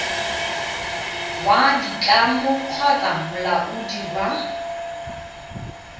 wa ditlamo kgotsa molaodi wa